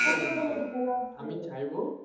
অনেক ভালো আমি চাইবো